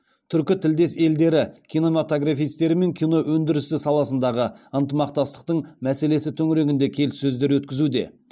түркітілдес елдері кинематографистерімен кино өндірісі саласындағы ынтымақтастық мәселесі төңірегінде келіссөздер өткізуде